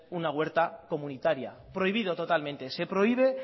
una huerta comunitaria prohibido totalmente se prohíbe